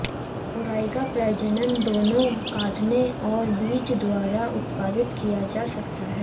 मुराई का प्रजनन दोनों काटने और बीज द्वारा उत्पादित किया जा सकता है